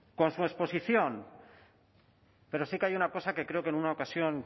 con su exposición pero sí que hay una cosa que creo que en una ocasión